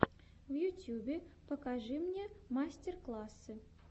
в ютьюбе покажи мне мастер классы